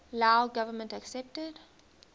lao government accepted